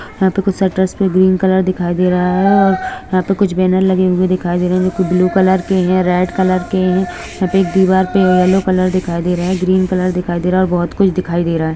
यहाँ भी षटरस पे ग्रीन कलर दिखाई दे रहा है यहाँ पे कुछ ब्लू रेड के है यहाँ पे दीवार पे येलो दिखाई दे रहा है ग्रीन दिखाई दे रहा है और बहुत कुछ दिखाई दे रहा है।